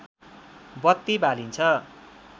बत्ती बालिन्छ